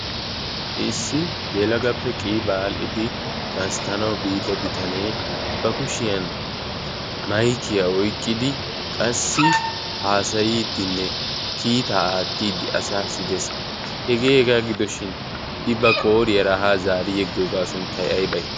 issi yeelagappe qii baadhdhidi gasttanau biida bitanee ba kushiyan maykiyaa oyqqidi qassi haasayiiddinne kiitaa aattiiddi asa sidees hegee hegaa gidoshin i ba qooriyaa rahaa zaari yeggoogaa sunttay aybay?